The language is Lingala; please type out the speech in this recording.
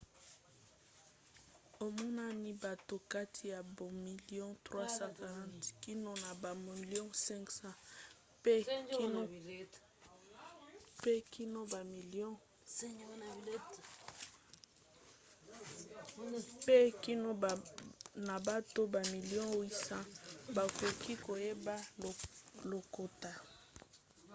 emonani bato kati na bamilio 340 kino na bamilio 500 pe kino na bato bamilio 800 bakoki koyeba lokota